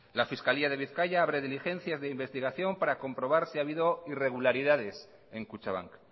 la fiscalía de bizkaia abre diligencias de investigación para comprobar si ha habido irregularidades en kutxabank